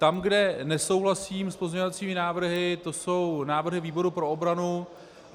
Tam, kde nesouhlasím s pozměňovacími návrhy, to jsou návrhy výboru pro obranu.